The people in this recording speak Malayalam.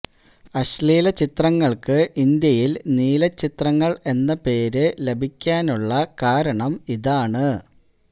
അശ്ലീല ചിത്രങ്ങള്ക്ക് ഇന്ത്യയിൽ നീല ചിത്രങ്ങൾ എന്ന പേര് ലഭിക്കാനുള്ള കാരണം ഇതാണ്